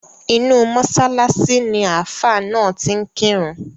Inú mọ́ṣáláṣí ni Ààfá náà ti ń kírun.